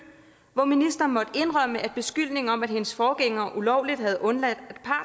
hvor ministeren måtte indrømme at beskyldningen om at hendes forgænger ulovligt havde undladt at